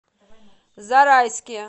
зарайске